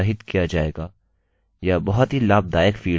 यह बहुत ही लाभदायक फील्डfield है